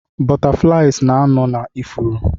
Butterflies na-anọ na ifuru